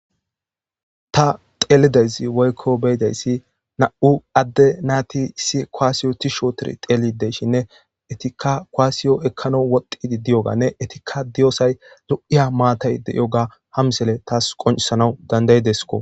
ta xeelidayssi woykko beyidayssi na7u adde naati issi koaasiyo ti shootidi xeeli deyshinne etikka koaasiyo ekkano wodqidi diyoganne etikka diyosay lu7iya maatay de yoga hamsele taas qoncisanaw dandayidesko